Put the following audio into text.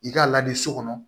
I k'a lajɛ so kɔnɔ